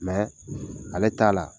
Mɛ ale t'a la